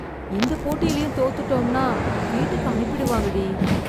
இந்த போட்டிலேயும் தோத்துட்டோம்னா வீட்டுக்கு அனுப்பிடுவாங்க டி.